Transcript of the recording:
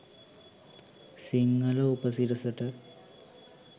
Sinhala උපසිරසට.